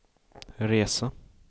resa